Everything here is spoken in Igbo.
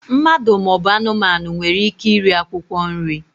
Mmadụ ma ọ bụ anụmanụ nwere ike iri akwụkwọ nri.